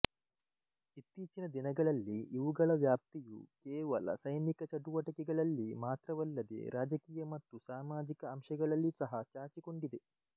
ಇತ್ತೀಚಿನ ದಿನಗಳಲ್ಲಿ ಇವುಗಳ ವ್ಯಾಪ್ತಿಯು ಕೇವಲ ಸೈನಿಕ ಚಟುವಟಿಕೆಗಳಲ್ಲಿ ಮಾತ್ರವಲ್ಲದೆ ರಾಜಕೀಯ ಮತ್ತು ಸಾಮಾಜಿಕ ಅಂಶಗಳಲ್ಲಿ ಸಹ ಚಾಚಿಕೊಂಡಿದೆ